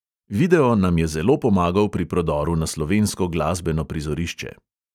Video nam je zelo pomagal pri prodoru na slovensko glasbeno prizorišče.